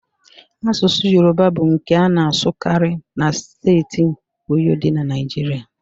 Asụsụ Yoruba bụ nke a na-asụkarị na steeti Oyo dị na Naijiria